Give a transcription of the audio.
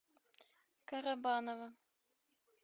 карабаново